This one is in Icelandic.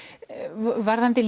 varðandi